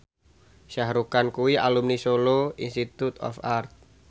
Shah Rukh Khan kuwi alumni Solo Institute of Art